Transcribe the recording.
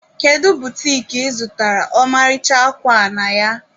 Kedu butiki ị zụtara ọmarịcha akwa a na ya?